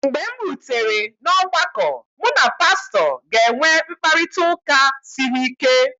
mgbe m rutere n’ọgbakọ, mụ na pastọ ga-enwe mkparịta ụka siri ike